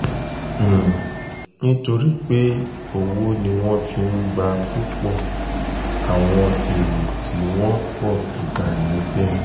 um nítorí pé owó ni wọ́n fi ń gba púpọ̀ àwọn èrò tí um wọ́n pọ̀ bíbá níbẹ̀ ni